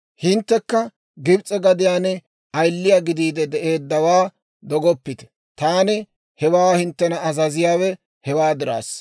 Hinttekka Gibs'e gadiyaan ayiliyaa gidiide de'eeddawaa dogoppite. Taani hawaa hinttena azaziyaawe hewaa diraassa.